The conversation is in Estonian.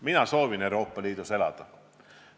Mina soovin Euroopa Liidus elada.